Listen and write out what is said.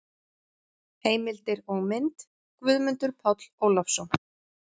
Heimildir og mynd: Guðmundur Páll Ólafsson.